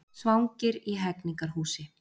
Svangir í Hegningarhúsi